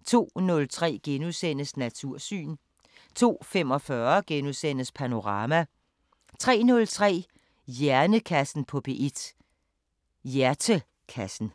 02:03: Natursyn * 02:45: Panorama * 03:03: Hjernekassen på P1: Hjertekassen